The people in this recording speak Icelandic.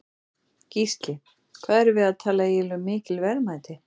Gísli: Hvað erum við að tala eiginlega um mikil verðmæti?